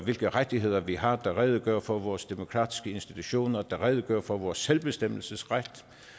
hvilke rettigheder vi har der redegør for vores demokratiske institutioner der redegør for vores selvbestemmelsesret